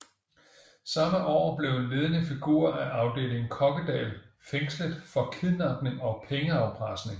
Samme år blev en ledende figur af Afdeling Kokkedal fængslet for kidnapning og pengeafpresning